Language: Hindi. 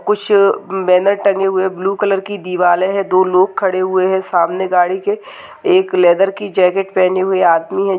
कुछ बैनर टंगे हुए ब्लू कलर की दिवालें हैं दो लोग खड़े हुए हैं सामने गाड़ी के एक लेदर की जॅकेट पहनी हुई आदमी --